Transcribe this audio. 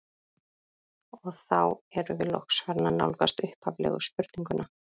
Og þá erum við loks farin að nálgast upphaflegu spurninguna.